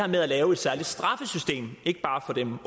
med at lave et særligt straffesystem ikke bare for dem